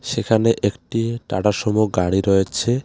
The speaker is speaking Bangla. সেখানে একটি টাটা সুমো গাড়ি রয়েছে .